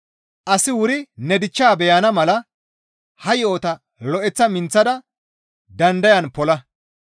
Asi wuri ne dichchaa beyana mala ha yo7ota lo7eththa minththada dandayan pola.